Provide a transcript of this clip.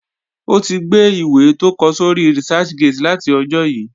O tí gbe ìwé tó kọ sóri Researchgate láti ọjó yí